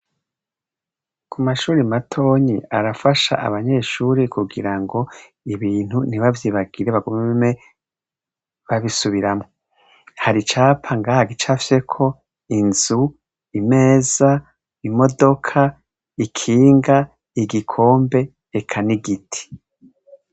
Ku mashuri matonyi arafasha abanyeshuri kugira ngo ibintu ntibavyibagire bagumeme babisubiramwo hari icapa ngaha gicafyeko inzu imeza imodoka ikinga igikombe ekani giti.